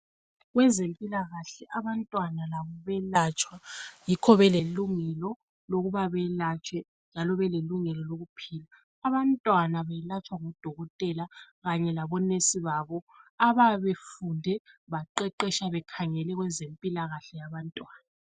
Kwezempilakahle abantwana labo bayelatshwa yikho belelungelo lokuba belatshwe njalo belelungelo lokuphila. Abantwana belatshwa ngudokotela kanye labo"nurse" babo abayabe befunda baqeqesha bekhangele kwezempilakahle yabantwana.